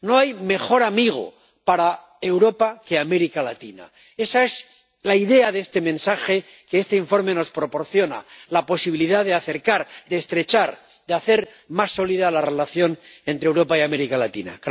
No hay mejor amigo para Europa que América Latina. Esa es la idea de este mensaje, que este informe nos proporciona la posibilidad de acercar, de estrechar, de hacer más sólida la relación entre Europa y América Latina.